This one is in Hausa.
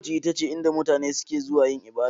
Coci ita ce inda mutane suke zuwa yin ibada.